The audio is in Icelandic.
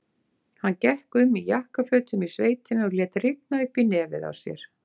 Hann gekk um í jakkafötum í sveitinni og lét rigna upp í nefið á sér.